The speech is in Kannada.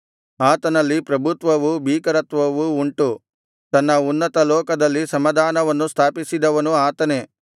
ಆತನಲ್ಲಿ ಪ್ರಭುತ್ವವೂ ಭೀಕರತ್ವವೂ ಉಂಟು ತನ್ನ ಉನ್ನತ ಲೋಕದಲ್ಲಿ ಸಮಾಧಾನವನ್ನು ಸ್ಥಾಪಿಸಿದವನು ಆತನೇ